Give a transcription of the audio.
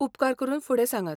उपकार करून फुडें सांगात .